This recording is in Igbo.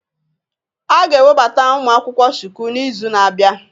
A ga-ewebata ụmụ akwụkwọ Shuku n'izu na-abịa